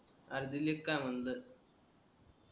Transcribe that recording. अरे दिलेत का म्हणलं